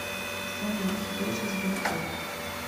салют что за сберкот